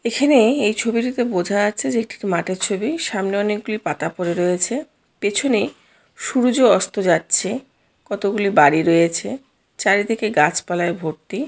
এখানে এই ছবিটিতে বোঝা যাচ্ছে যে এটি একটি মাঠের ছবি সামনে অনেকগুলি পাতা পড়ে রয়েছে পেছনে সূরয অস্ত যাচ্ছে কতগুলি বাড়ি রয়েছে চারিদিকে গাছ পালায় ভর্তি।